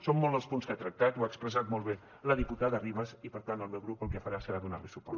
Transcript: són molts els punts que ha tractat ho ha expressat molt bé la diputada ribas i per tant el meu grup el que farà serà donar li suport